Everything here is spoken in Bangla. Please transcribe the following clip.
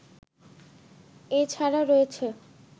এ ছাড়া রয়েছে